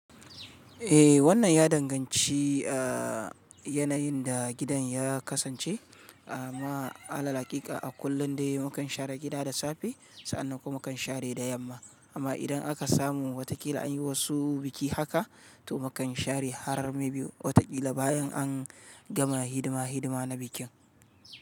Eh, wannan ya danganci yanayin da gidan ya kasance. A ma ala haƙika a kullum dai mu kan share gida da safe sa'an nan kuma kan share da yamma. Amma idan aka samu watakila an yi wasu biki haka to mu kan share har maybe watakila bayan an gama hidima hidima na bikin.